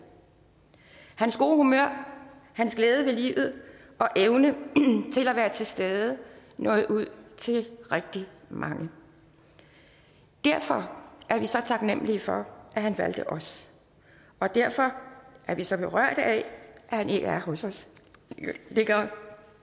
hans gode humør hans glæde ved livet og evne til at være til stede nåede ud til rigtig mange derfor er vi så taknemlige for at han valgte os og derfor er vi så berørte af at han ikke er hos os længere